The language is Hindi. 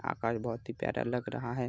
आकाश बोहोत ही प्यारा लग रहा है।